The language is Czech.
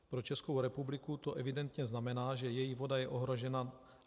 Pro Českou republiku to evidentně znamená, že její voda je ohrožena.